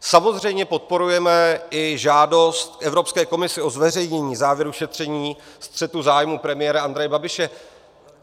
Samozřejmě podporujeme i žádost Evropské komisi o zveřejnění závěru šetření střetu zájmů premiéra Andreje Babiše.